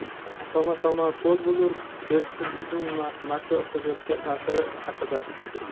"Toma-toma ko‘l bo‘lur" — erksizlikning makroiqtisodiyotga taʼsiri haqida.